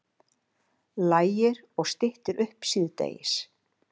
Lægir og styttir upp síðdegis